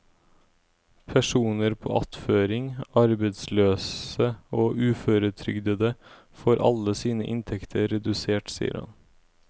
Personer på attføring, arbeidsløse og uføretrygdede får alle sine inntekter redusert, sier han.